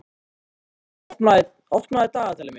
Laugey, opnaðu dagatalið mitt.